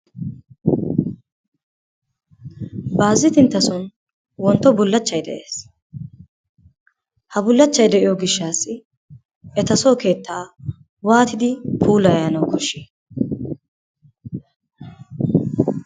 Baazinttinttason wontto bullaachchay de'ees, ha bullaachchay de'iyo gishshaassi etasoo keettaa waatidi puulayanawu koshshi?